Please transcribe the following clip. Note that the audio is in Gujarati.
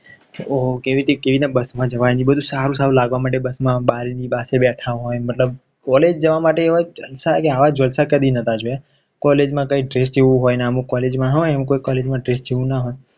ઓહ કેવી રીતે બસ જવાની એ બધું સારું સારું લાગવા માંડશે બસમાં બારીની પાસે બેથા હોય મતલબ College જવા માટે એવા જલસા કે આવા જલસા કે આવા જલસા કદી નોતા જોયા College માં